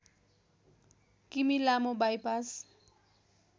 किमि लामो बाइपास